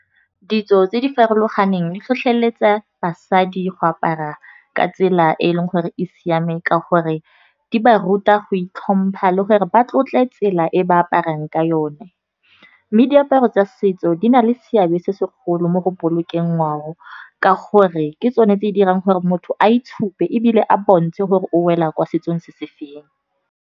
Ditso tse di farologaneng di tlhotlheletsa basadi go apara ka tsela e e leng gore e siame. Ka gore di ba ruta go itlhompha le gore ba tlotle tsela e ba aparang ka yone. Mme diaparo tsa setso di na le seabe se segolo mo go bolokeng ngwao, ka gore ke tsone tse di dirang gore motho a itshupe ebile a bontshe gore o wela ko setsong se se feng.